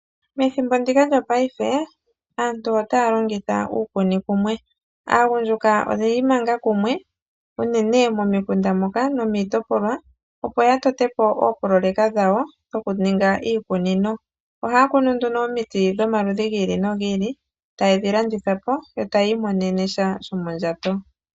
Methimbo ndika lyopaife, aantu otaa longitha uukunikumwe. Aagundjuka oyi imanga kumwe, unene momikunda moka nomiitopolwa, opo ya tote po oopoloyeka dhawo dhokuninga iikunino. Ohaya kunu nduno omiti dhomaludhi gi ili nogi ili, taye dhi landitha po, yo taya imonene sha shomondjato.